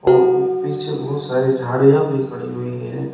और पीछे बहुत सारे झाड़ियां भी खड़ी हुई है।